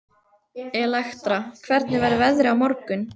Elektra, hvernig verður veðrið á morgun?